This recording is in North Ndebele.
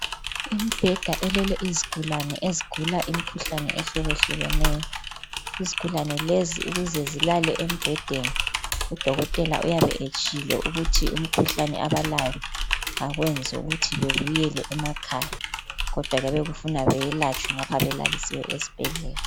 Imbheda elele izigulane ezigula imikhuhlane ehlukehlukeneyo. Izigulane lezi ukuze zilale embhedeni udokotela uyabe etshilo ukuthi umkhuhlane abalayo akwenzi ukuthi bebuyele emakhaya kodwa kuyabe kufuna beyelatshwe ngapha belalisiwe esibhedlela.